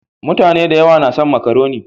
Mutane da yawa na son makaroni.